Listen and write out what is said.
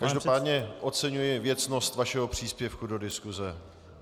Každopádně oceňuji věcnost vašeho příspěvku do diskuse.